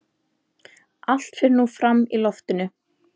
Allt fer nú fram í loftinu.